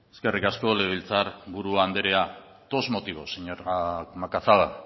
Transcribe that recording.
eskerrik asko legebiltzar buru anderea dos motivos señora macazaga